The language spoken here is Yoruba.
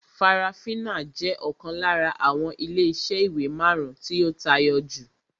Farafina jẹ́ ọ̀kan lára àwọn ilé iṣẹ́ ìwé marun-un tí ó tayọ jù